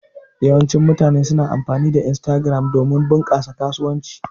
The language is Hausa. Yawancin mutane suna amfani da Instagram domin bunƙasa kasuwanci.